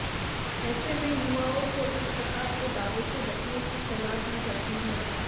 ऐस में युवाओं को इस प्रकार के दावे से बचने की सलाह दी जाती है